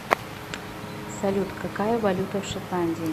салют какая валюта в шотландии